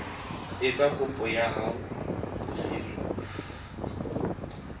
etsa kopo ya ho busetswa